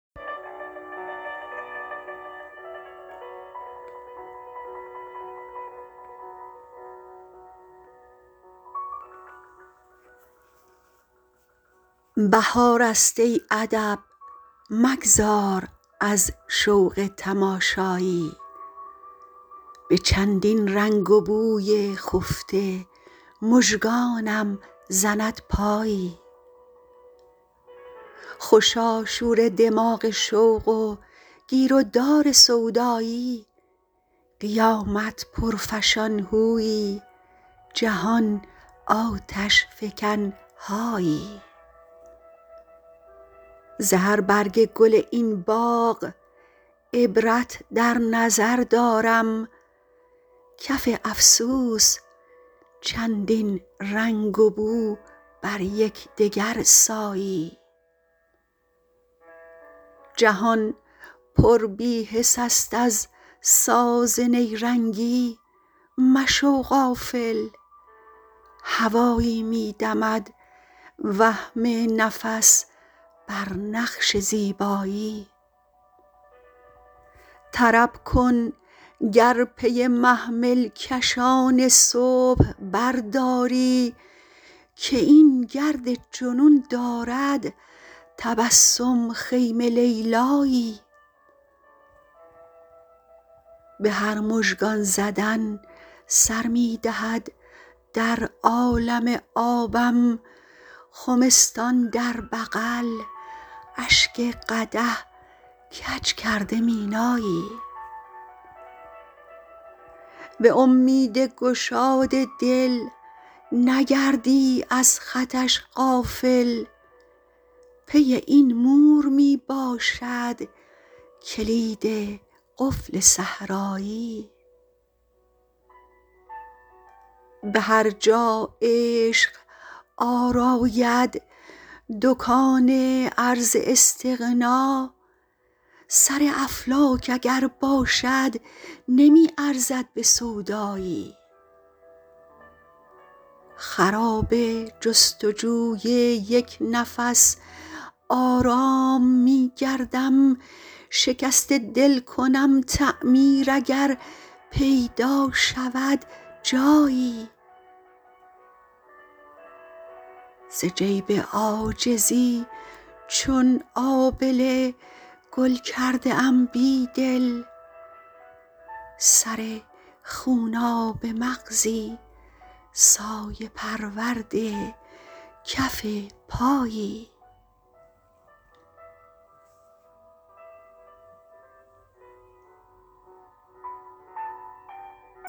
بهار است ای ادب مگذار از شوق تماشایی به چندین رنگ و بوی خفته مژگانم زند پایی خوشا شور دماغ شوق و گیرودار سودایی قیامت پرفشان هویی جهان آتش فکن هایی ز هر برگ گل این باغ عبرت در نظر دارم کف افسوس چندین رنگ و بو بر یکدگر سایی جهان پر بیحس است از ساز نیرنگی مشو غافل هوایی می دمد وهم نفس بر نقش زیبایی طرب کن گر پی محمل کشان صبح برداری که این گرد جنون دارد تبسم خیمه لیلایی به هر مژگان زدن سر می دهد در عالم آبم خمستان در بغل اشک قدح کج کرده مینایی به امید گشاد دل نگردی از خطش غافل پی این مور می باشد کلید قفل صحرایی به هر جا عشق آراید دکان عرض استغنا سر افلاک اگر باشد نمی ارزد به سودایی خراب جستجوی یکنفس آرام می گردم شکست دل کنم تعمیر اگر پیدا شود جایی ز جیب عاجزی چون آبله گل کرده ام بیدل سر خوناب مغزی سایه پرورد کف پایی